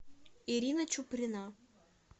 ирина чуприна